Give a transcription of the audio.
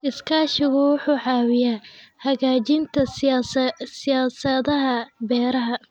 Iskaashigu wuxuu caawiyaa hagaajinta siyaasadaha beeraha.